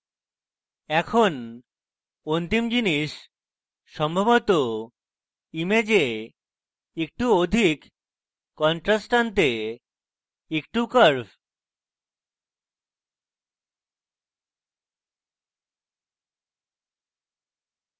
এখন অন্তিম জিনিস সম্ভবত image একটু অধিক contrast আনতে একটু curves